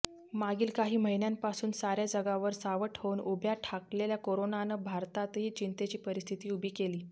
मागील काही महिन्यांपासून साऱ्या जगावर सावट होऊन उभ्या ठाकलेल्या कोरोनानं भारतातही चिंतेची परिस्थिती उभी केली